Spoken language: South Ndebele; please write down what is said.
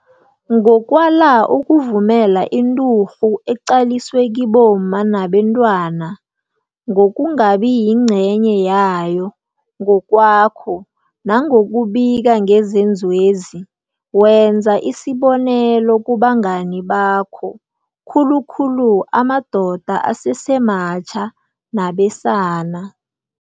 Ngokwala ukuvumela inturhu eqaliswe kibomma nabentwana, ngokungabi yingcenye yayo ngokwakho nangokubika ngezenzwezi, wenza isibonelo kubangani bakho, khulukhulu amadoda asesematjha nabesana.